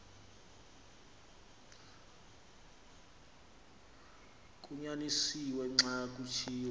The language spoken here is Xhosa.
kunyanisiwe xa kuthiwa